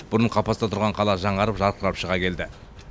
бұрын қапаста тұрған қала жаңарып жарқырап шыға келді